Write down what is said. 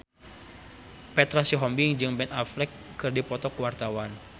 Petra Sihombing jeung Ben Affleck keur dipoto ku wartawan